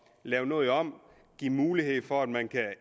lave noget om og give mulighed for at man kan